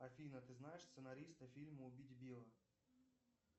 афина ты знаешь сценариста фильма убить билла